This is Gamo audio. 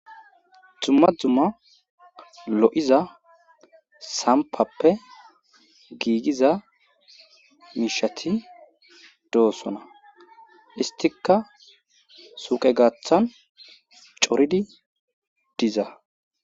Dumma dumma lo'iza sampappe giigiza miishati dosona. Isttikka suuqe gaaththan coridi diza.